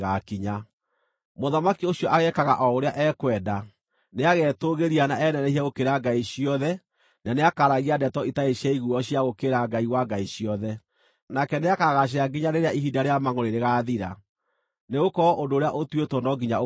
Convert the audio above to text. “Mũthamaki ũcio ageekaga o ũrĩa ekwenda. Nĩagetũũgĩria na enenehie gũkĩra ngai ciothe na nĩakaaragia ndeto itarĩ ciaiguuo cia gũũkĩrĩra Ngai wa ngai ciothe. Nake nĩakagaacĩra nginya rĩrĩa ihinda rĩa mangʼũrĩ rĩgaathira, nĩgũkorwo ũndũ ũrĩa ũtuĩtwo no nginya ũkaahinga.